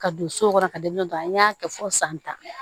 Ka don so kɔnɔ ka don dɔ an y'a kɛ fɔ san tan